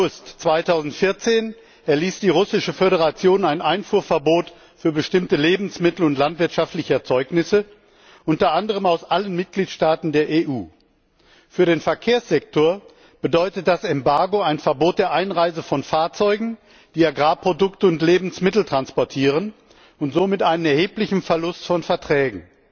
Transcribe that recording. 7. August 2014 erließ die Russische Föderation ein Einfuhrverbot für bestimmte Lebensmittel und landwirtschaftliche Erzeugnisse, unter anderem aus allen Mitgliedstaaten der EU. Für den Verkehrssektor bedeutet das Embargo ein Verbot der Einreise von Fahrzeugen, die Agrarprodukte und Lebensmittel transportieren und somit einen erheblichen Verlust von Verträgen.